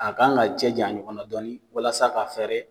A kan ka cɛ janya ɲɔgɔn na dɔɔnin walasa ka fɛrɛ